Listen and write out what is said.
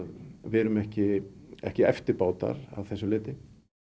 við erum ekki ekki eftirbátar að þessu leyti